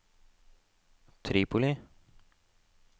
Tripoli